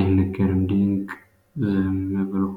አይነገርም ድንቅ ብሎ ዝም።